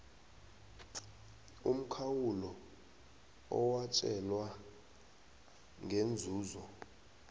umkhawulo owatjelwana ngeenzuzo